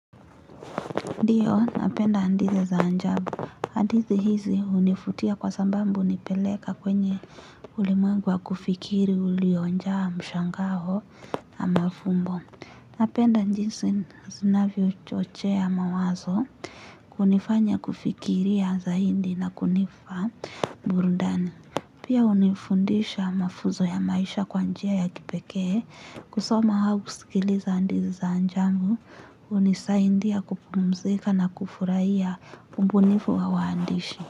Ndiyo, napenda hadithi za ajabu. Hadithi hizi hunivutia kwa sababu hunipeleka kwenye ulimwengu wa kufikiri uliojaa mshangao na mafumbo. Napenda jinsi zinavyochochea mawazo kunifanya kufikiri ya zaidi na kunipa burudani. Pia hunifundisha mafunzo ya maisha kwa njia ya kipekee. Kusoma au kusikiliza hadithi za ajabu, hunisaidia kupumzika na kufurahia ubunifu wa waandishi.